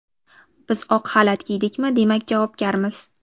Biz oq xalat kiydikmi, demak javobgarmiz.